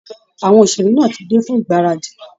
Àwọn òṣèré ti dé fún ìgbáradì